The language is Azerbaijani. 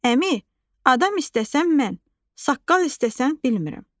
Əmi, adam istəsən mən, saqqal istəsən bilmirəm.